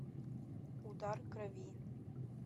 удар крови